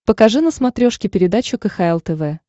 покажи на смотрешке передачу кхл тв